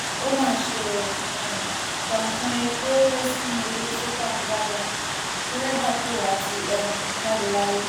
ó mà ṣe ó um tànkàn epo rẹ sínú odò soka nìbàdàn dẹrẹbà tó wà á ti um jáde láyé